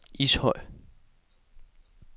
Ishøj